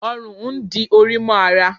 òrùn n dí Ori mo ará